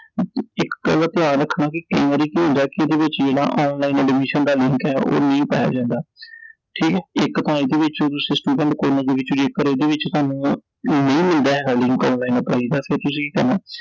ਇਕ ਗੱਲ ਦਾ ਧਿਆਨ ਰੱਖਣਾ ਕਿ ਕਈ ਵਾਰੀ ਕੀ ਹੁੰਦਾ ਕਿ online admission ਦਾ link ਐ ਉਹ ਨਹੀਂ ਪਾਇਆ ਜਾਂਦਾ I ਠੀਕ ਐ I ਇਕ ਤਾਂ ਤੁਸੀਂ ਇਹਦੇ ਵਿਚ ਸਿੱਧਾ ਵਿਚ ਕਰੋ ਓਹਦੇ ਵਿਚ ਥੋਨੂੰ ਨਹੀਂ ਮਿਲਦਾ online apply ਦਾ ਫੇਰ ਤੁਸੀਂ ਕੀ ਕਰਨਾ